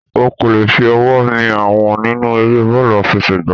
O kò lè fi ọwọ́ mi Àwọ̀n nínú eré bọ́ọ̀lù àfẹsẹ̀ gbá.